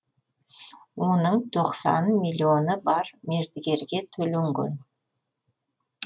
оның тоқсан миллионы бар мердігерге төленген